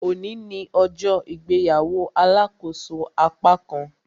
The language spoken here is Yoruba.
Òní ní ọjọ́ ìgbéyàwó alàkóso apákan